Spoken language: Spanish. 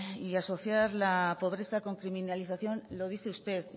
y asociar la pobreza con criminalización lo dice usted